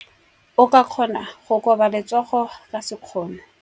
O ka kgona go koba letsogo ka sekgono.